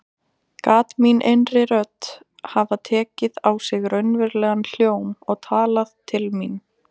Gat mín innri rödd hafa tekið á sig raunverulegan hljóm og talað til mín?